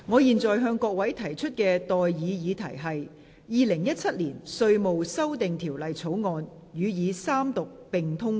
現在的待議議題是：《2017年稅務條例草案》予以三讀並通過。